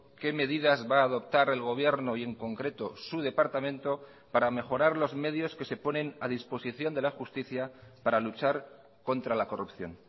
qué medidas va a adoptar el gobierno y en concreto su departamento para mejorar los medios que se ponen a disposición de la justicia para luchar contra la corrupción